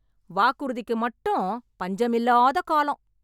வாக்குறுதிக்கு மட்டும் பஞ்சம் இல்லாத காலம்